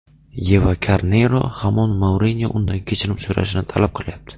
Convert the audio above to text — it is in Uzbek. Yeva Karneyro hamon Mourinyo undan kechirim so‘rashini talab qilyapti.